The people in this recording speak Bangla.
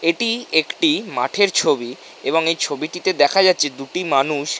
এটি একটি মাঠের ছবি এবং এই ছবিটিতে দেখা যাচ্ছে দুটি মানুষ--